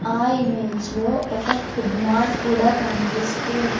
ఆ ఇమేజ్ లో ఒక ఫుడ్ మార్ట్ కూడా కనిపిస్తూ ఉన్--